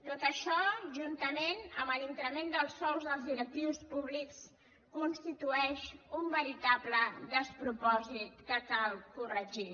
tot això juntament amb l’increment dels sous dels directius públics constitueix un veritable despropòsit que cal corregir